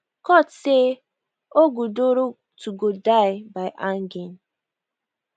court say ogudoro to go die by hanging